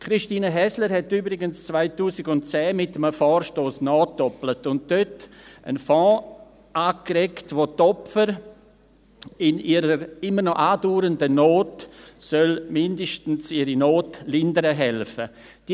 Christine Häsler hat übrigens 2010 mit einem Vorstoss nachgedoppelt und dort einen Fonds angeregt, der den Opfern in ihrer immer noch andauernden Not mindestens ihre Not lindern helfen soll.